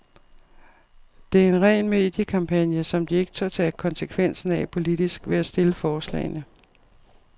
Det er en ren mediekampagne, som de ikke tør tage konsekvensen af politisk ved at stille forslagene.